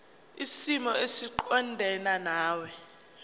kwisimo esiqondena nawe